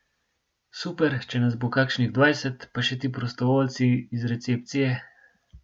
Super, če nas bo kakšnih dvajset, pa še ti prostovoljci iz recepcije ...